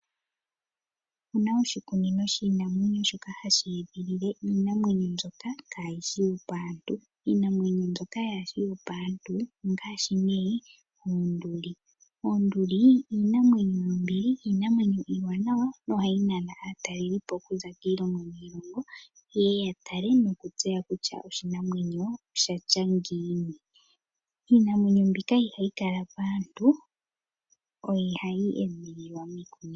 Opuna oshikunino shiinamwenyo shoka hashi edhilile iinamwenyo mbyoka kayishi yopaantu iinamwenyo mbyoka kayishi yopaantu ongaashi ne oonduli. Oonduli iinamwenyo yombili iinamwenyo iiwanawa na ohayi nana aatalelipo okuza kiilongo yi ili noyi ili yeye yatale nokutseya kutya oshinamwenyo oshatya ngiini. Iinamwenyo mbika ihayi kala paantu, ohayi edhililwa miikunino.